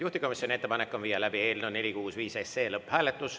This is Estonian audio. Juhtivkomisjoni ettepanek on viia läbi eelnõu 465 lõpphääletus.